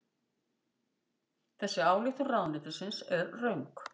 Þessi ályktun ráðuneytisins er röng